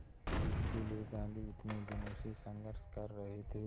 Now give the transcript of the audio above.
जिसके लिए गांधी इतने दिनों से संघर्ष कर रहे थे